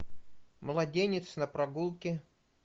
младенец на прогулке